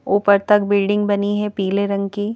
ऊपर तक बिल्डिंग बनी है पीले रंग की।